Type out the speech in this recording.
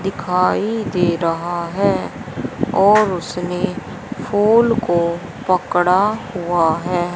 दिखाई दे रहा है और उसमें फूल को पकड़ा हुआ है।